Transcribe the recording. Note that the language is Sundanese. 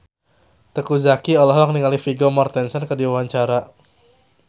Teuku Zacky olohok ningali Vigo Mortensen keur diwawancara